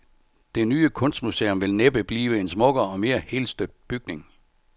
Det nye kunstmuseum vil næppe blive en smukkere og mere helstøbt bygning.